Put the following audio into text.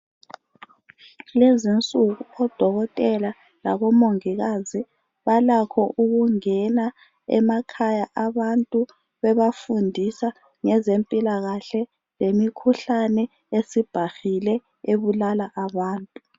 Kulezinsuku, odokotela labomongikazi balakho ukungena emakhaya abantu bebafundisa ngezempilakahle lemikhuhlane esibhahile ebulala abantu.